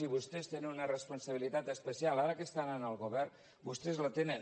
i vostès tenen una responsabilitat especial ara que estan en el govern vostès la tenen